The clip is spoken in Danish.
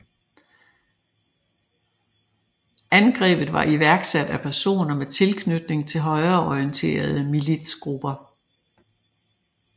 Angrebet var iværksat af personer med tilknytning til højreorienterede militsgrupper